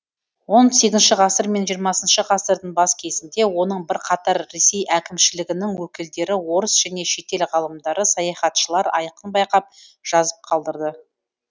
он сегізінші ғасыр мен жиырмасыншы ғасырдың бас кезінде оның бірқатар ресей әкімшілігінің өкілдері орыс және шетел ғалымдары саяхатшылар айқын байқап жазып қалдырды